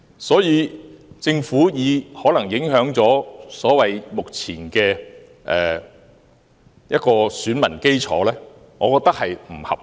所以，政府有關可能影響目前選民基礎的說法，我認為並不合理。